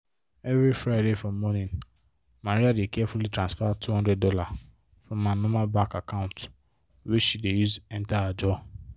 everi friday for morning maria dey carefully transfer $200 from her normal bank account wey she dey use enter ajo